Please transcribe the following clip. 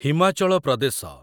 Himachal Pradesh